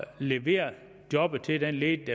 levere jobbet til den ledige